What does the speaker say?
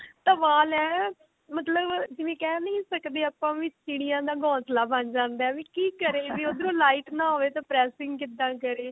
ਵਾਲ ਐਵੇਂ ਹੈ ਮਤਲਬ ਜਿਵੇਂ ਕਹਿ ਨਹੀਂ ਸਕਦੇ ਆਪਾਂ ਵੀ ਚਿੜੀਆਂ ਦਾ ਗੋਸ਼ਲਾ ਬਣ ਜਾਂਦਾ ਵੀ ਕੀ ਕਰੇ ਵੀ ਉਦਰੋ light ਨਾ ਹੋਵੇ ਤਾਂ pressing ਕਿੱਦਾਂ ਕਰੀਏ